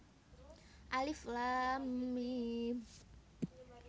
Alif Laam Miem